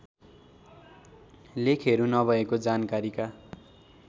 लेखहरू नभएको जानकारीका